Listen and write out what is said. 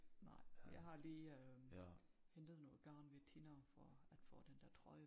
Nej jeg har lige hentet noget garn ved Tina for at få den der trøje